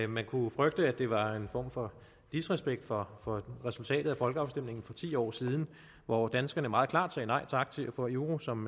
man kunne frygte at det var en form for disrespekt for for resultatet af folkeafstemningen for ti år siden hvor danskerne meget klart sagde nej tak til at få euro som